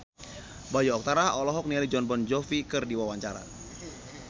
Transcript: Bayu Octara olohok ningali Jon Bon Jovi keur diwawancara